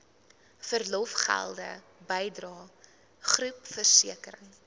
verlofgelde bydrae groepversekering